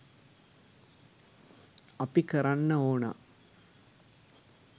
අපි කරන්න ඕනා